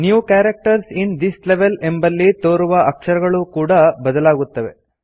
new characters in this level ಎಂಬಲ್ಲಿ ತೋರುವ ಅಕ್ಷರಗಳೂ ಕೂಡಾ ಬದಲಾಗುತ್ತವೆ